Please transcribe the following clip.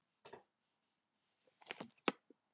ÉG HELLI EF ÞIÐ HREYFIÐ YKKUR!